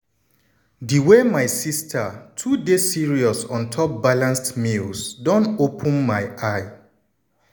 di way my sister too dey serious on top balanced meals don open my eye.